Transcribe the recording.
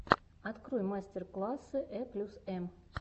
открой мастер классы э плюс эм